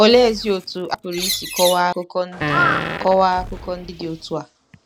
Oleezi otú a pụrụ isi kọwaa akụkọ ndị kọwaa akụkọ ndị dị otú a?